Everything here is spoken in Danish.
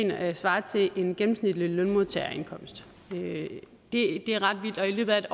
der svarer til en gennemsnitlig lønmodtagerindkomst det er ret vildt og i løbet af